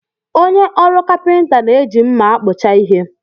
Onye ọrụ kapịnta na-eji mmá a kpụcha ihe.